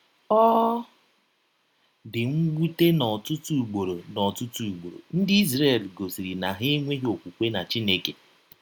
Ọ dị mwute na ọtụtụ ụgbọrọ na ọtụtụ ụgbọrọ ndị Izrel gọsiri na ha enweghị ọkwụkwe na Chineke.